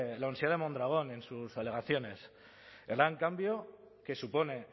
la universidad de mondragon en sus alegaciones el gran cambio que supone